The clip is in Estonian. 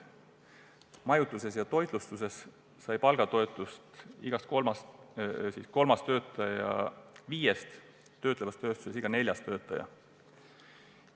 Majutuses ja toitlustuses on saanud palgatoetust iga kolmas töötaja viiest, töötlevas tööstuses iga neljas töötaja.